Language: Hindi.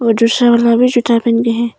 वो दूसरा वाला भी जूता पहन के है।